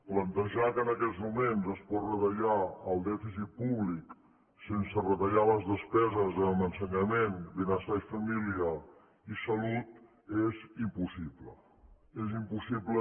plantejar que en aquests moments es pot retallar el dèficit públic sense retallar les despeses en ensenyament benestar i família i salut és impossible és impossible